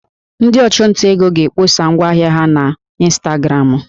Ndị ọchụnta ego na-akpọsa ngwa ahịa ha na ịnstagramụ